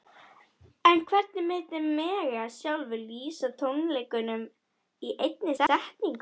En hvernig myndi Megas sjálfur lýsa tónleikunum í einni setningu?